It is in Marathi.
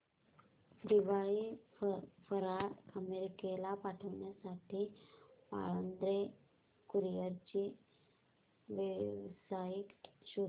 दिवाळी फराळ अमेरिकेला पाठविण्यासाठी पाळंदे कुरिअर ची वेबसाइट शोध